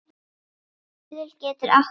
Stuðull getur átt við